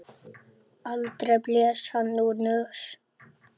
Aldrei blés hann úr nös.